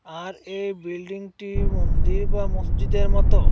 আর এই বিল্ডিংটি মন্দির বা মসজিদের মতো।